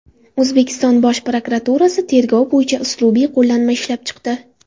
O‘zbekiston Bosh prokuraturasi tergov bo‘yicha uslubiy qo‘llanma ishlab chiqdi.